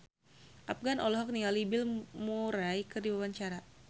Afgan olohok ningali Bill Murray keur diwawancara